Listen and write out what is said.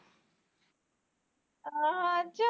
ਹਾ ਹਾ